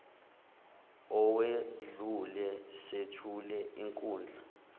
owedlule sethule inkundla